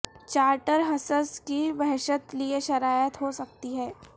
charter حصص کی وحشت لئے شرائط ہو سکتی ہے